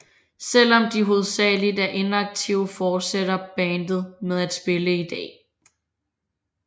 Selvom de hovedsageligt er inaktive fortsætter bandet med at spille i dag